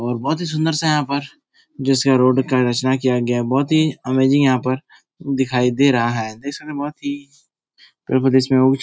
और बहुत ही सुन्दर सा यहाँ पर जिसका रोड का रचना किया गया है । बहुत ही अमेजिंग यहाँ पर देखिए दे रहा है । देख सकते हैं बहुत ही --